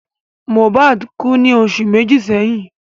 Mohbad kú ní oṣù méjì sẹ́yìn